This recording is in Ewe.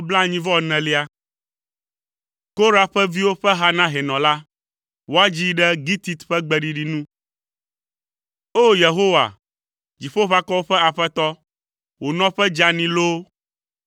Korah ƒe viwo ƒe ha na hɛnɔ la. Woadzii ɖe gitit ƒe gbeɖiɖi nu. O! Yehowa, Dziƒoʋakɔwo ƒe Aƒetɔ, wò nɔƒe dzeani loo!